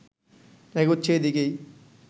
এগোচ্ছে এদিকেই